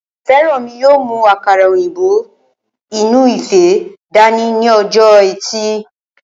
Fẹ́rànmi yóò mú àkàrà òyìnbó inú ife dání ní ọjọ́ ẹtì